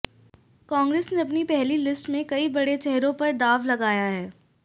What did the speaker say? कांग्रेस ने अपने पहली लिस्ट में कई बड़े चेहरों पर दांव लगाया है